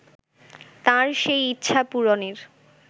তাঁর সেই ইচ্ছা পূরণের